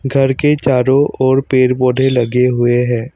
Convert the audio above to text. घर के चारों ओर पेड़ पौधे लगे हुए हैं।